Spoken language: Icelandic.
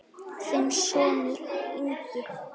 Þinn sonur, Ingi.